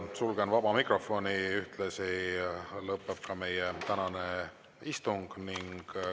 Sulgen vaba mikrofoni ja ühtlasi lõpeb meie tänane istung.